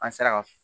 An sera ka